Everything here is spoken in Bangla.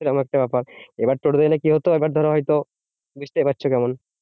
এরকম একটা ব্যাপার। এবার টোটো তে উঠলে কি হতো? ধরো হয়ত বুঝতেও পারছো কেমন?